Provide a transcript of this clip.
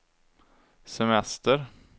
semester